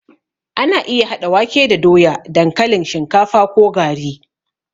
Ana iya haɗa wake da doya, dankalin, shinkafa ko gari.